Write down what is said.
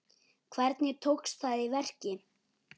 Hvernig tókst það í verki?